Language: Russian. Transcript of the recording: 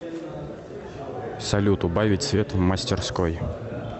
салют убавить свет в мастерской